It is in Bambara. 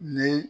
Ni